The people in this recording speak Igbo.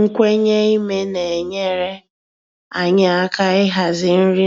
Nkwenye ime na-enyere anyị aka ịhazi nri